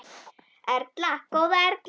Erla, góða Erla!